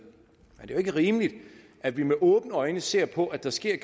er jo ikke rimeligt at vi med åbne øjne må se på at der sker